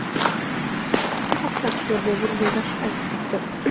Bu haqda aktyor Bobur Yo‘ldoshev aytib o‘tdi.